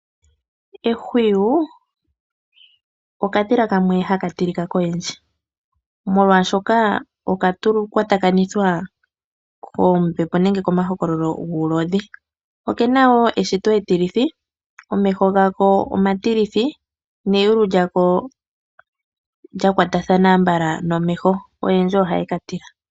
Ehwiyu okadhila kamwe haka tilika koyendji, molwashoka okakwatwakanithwa koombepo nenge komahokololo guulodhi. Oke na wo eshito etilithi, omeho gako omatilithi neyulu lyako lya kwatakana ambala nomeho. Oyendji ohaye ka tila.